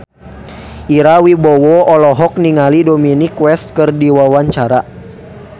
Ira Wibowo olohok ningali Dominic West keur diwawancara